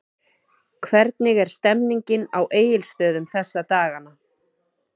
Hvernig er stemningin á Egilsstöðum þessa dagana?